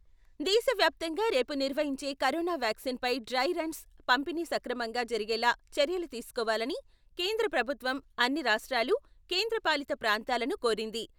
దేశవ్యాప్తంగా రేపు నిర్వహించే కొరోనా వ్యాక్సిన్ పై డ్రై రన్స్ పంపిణీ సక్రమంగా జరిగేలా చర్యలు తీసుకోవాలని కేంద్ర ప్రభుత్వం, అన్ని రాష్ట్రాలు, కేంద్రపాలిత ప్రాంతాలను కోరింది.